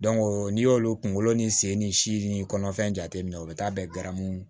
n'i y'olu kunkolo ni sen ni si ni kɔnɔfɛn jateminɛ o bɛ taa bɛn garamu